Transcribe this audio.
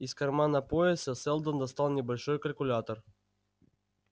из кармана пояса сэлдон достал небольшой калькулятор